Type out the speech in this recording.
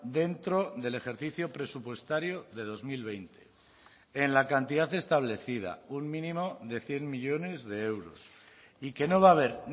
dentro del ejercicio presupuestario de dos mil veinte en la cantidad establecida un mínimo de cien millónes de euros y que no va a haber